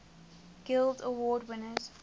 guild award winners